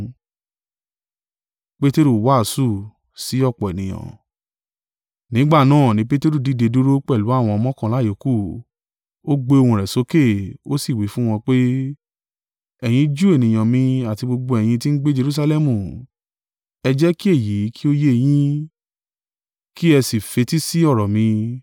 Nígbà náà ni Peteru dìde dúró pẹ̀lú àwọn mọ́kànlá yòókù, ó gbé ohùn rẹ̀ sókè, ó sì wí fún wọn pé, “Ẹ̀yin Júù ènìyàn mi àti gbogbo ẹ̀yin tí ń gbé Jerusalẹmu, ẹ jẹ́ kí èyí kí ó yé yin; kí ẹ sì fetísí ọ̀rọ̀ mi.